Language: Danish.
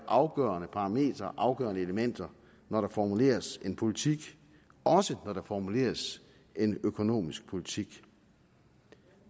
afgørende parameter afgørende elementer når der formuleres en politik også når der formuleres en økonomisk politik